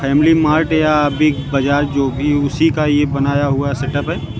Family Mart या Big Bazaar जो भी है उसी का ये बनाया हुआ सेटअप है।